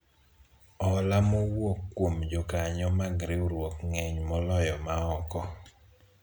hola mowuok kuom jokanyo mag riwruok ng'eny moloyo ma oko